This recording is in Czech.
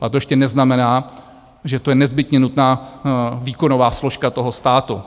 Ale to ještě neznamená, že to je nezbytně nutná výkonová složka toho státu.